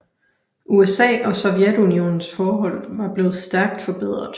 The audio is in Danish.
USA og Sovjetunionens forhold var blevet stærkt forbedret